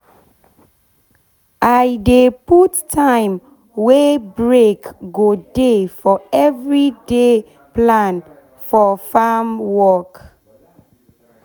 i dey put time wey break go dey for every day plan for farm work